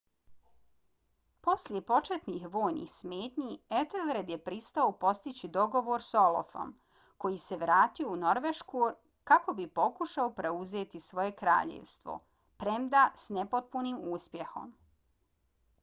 poslije početnih vojnih smetnji ethelred je pristao postići dogovor s olafom koji se vratio u norvešku kako bi pokušao preuzeti svoje kraljevstvo premda s nepotpunim uspjehom